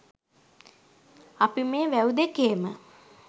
අපි මේ වැව් දෙකේම